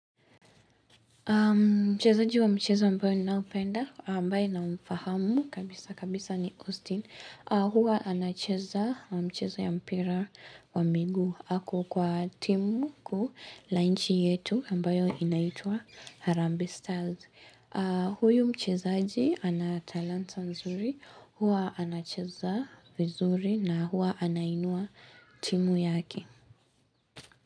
Mchezaji wa mchezo ambao ninaopenda ambaye namfahamu kabisa kabisa ni Austin huwa anacheza mchezo ya mpira wa miguu. Ako kwa timu kuu la inchi yetu ambayo inaitua Harambee Stars huyu mchezaji ana talanta nzuri, huwa anacheza vizuri na huwa anainua timu yake.